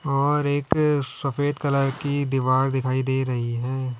और एक सफेद कलर की दीवार दिखाई दे रही है।